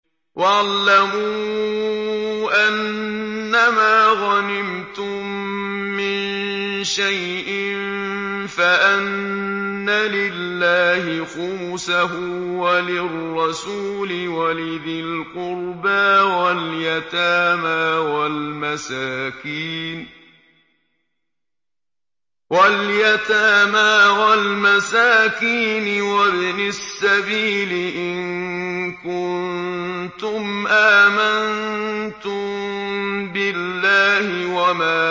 ۞ وَاعْلَمُوا أَنَّمَا غَنِمْتُم مِّن شَيْءٍ فَأَنَّ لِلَّهِ خُمُسَهُ وَلِلرَّسُولِ وَلِذِي الْقُرْبَىٰ وَالْيَتَامَىٰ وَالْمَسَاكِينِ وَابْنِ السَّبِيلِ إِن كُنتُمْ آمَنتُم بِاللَّهِ وَمَا